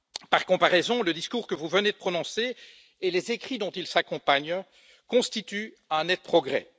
Par comparaison, le discours que vous venez de prononcer et les écrits qui l'accompagnent constituent un net progrès.